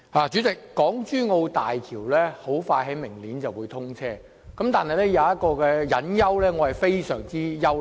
主席，港珠澳大橋即將於明年通車，但有一個隱憂，令我感到非常憂慮。